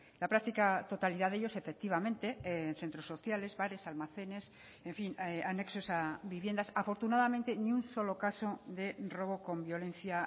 la práctica totalidad de ellos efectivamente en centros sociales bares almacenes en fin anexos a viviendas afortunadamente ni un solo caso de robo con violencia